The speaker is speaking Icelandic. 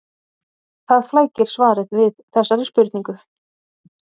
Það flækir svarið við þessari spurningu.